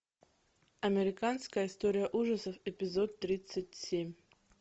американская история ужасов эпизод тридцать семь